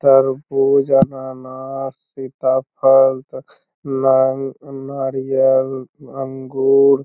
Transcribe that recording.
तरबूज अन्नानस सीताफल ना नारियल अंगूर